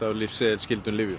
á lyfseðilsskyldum lyfjum